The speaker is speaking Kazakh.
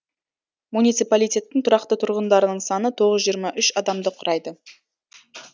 муниципалитеттің тұрақты тұрғындарының саны тоғыз жүз жиырма үш адамды құрайды